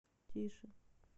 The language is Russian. тише